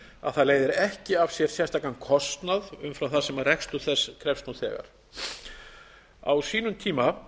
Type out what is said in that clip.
að það leiðir ekki af sér sérstakan kostnað umfram það sem rekstur þess krefst nú þegar á sínum tíma